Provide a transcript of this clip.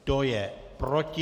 Kdo je proti?